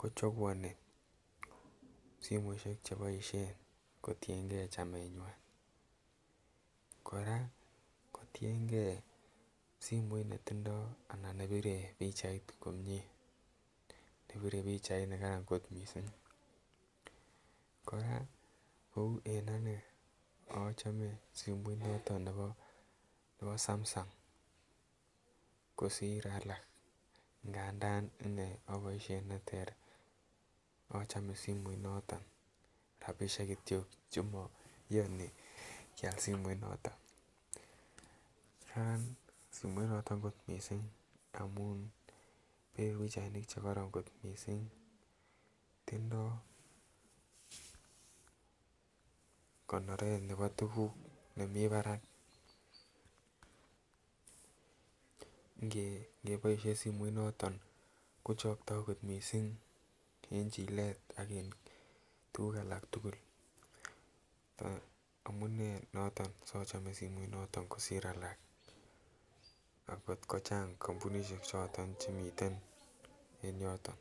kochaguani simoisiek cheboisien kotienge chamenywan. Kora kotienge simoit netindo ana ne bire pichait komie. Nepire pichainigan kot mising. Kou en anne achome simoit noto nebo Samsung kosir alak nganda inne aboisien neter achome simoit noto, rapisiek kityo chemaiyani kial simoit noto. Karansimoinotet mising amun bire pichainik che kororon kot mising. Tindo konoret nebo tuguk nemi barak ngeboisien simoit noto kochokto kot mising eng chilet ak en tuguk alak tugul. Amune noto sachome simoit noto kosir alak akngot kochang kampunisiek choto chemiten en yoto.